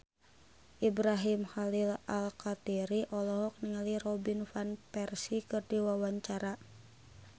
Ibrahim Khalil Alkatiri olohok ningali Robin Van Persie keur diwawancara